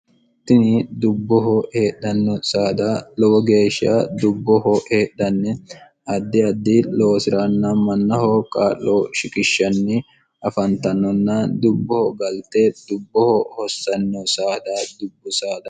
tini dubboho heedhanno saada lowo geeshsha dubboho heedhanne addi addi loosi'raanna mannaho kaa'lo shikishshanni afantannonna dubboho galte dubboho hossanno saada dubbu s